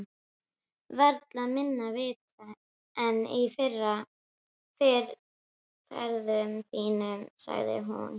Varla minna vit en í fyrri ferðum þínum, sagði hún.